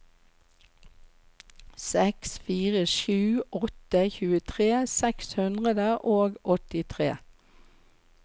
seks fire sju åtte tjuetre seks hundre og åttitre